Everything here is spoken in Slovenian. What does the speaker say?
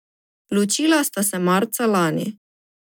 Ločila sta se marca lani.